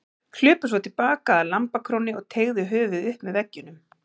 Hlupu svo til baka að lambakrónni og teygðu höfuðið upp með veggjunum.